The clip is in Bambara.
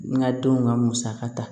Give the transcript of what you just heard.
N ka denw ka musaka ta